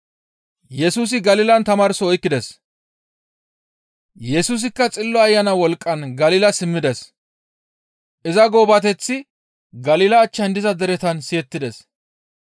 Yesusikka Xillo Ayana wolqqan Galila simmides; iza goobateththi Galila achchan diza deretan siyettides.